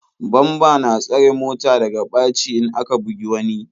Bamba na tsare mota daga ɓaci in aka bugi wani.